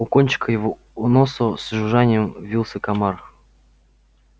у кончика его носа с жужжанием вился комар